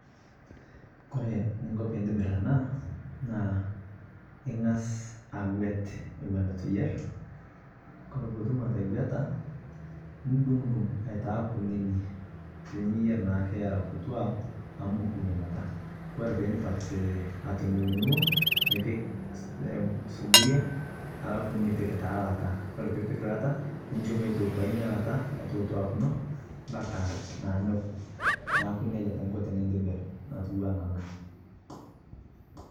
kore ninko piintibir anaa naa ingas aguet ewon etuu iyer kore piitum ategueta nidung dung aitaa kunini tiniyer naake eraa kutua amu mokuu inia kataa kore piindip atudungdungoo nipik suburia alafu nipik taa lataa kore piipik lata ninsho meitootua inia lata aitotuakino mpaka naa nokuu naaku neja taa inko tinintibir natuwana anaa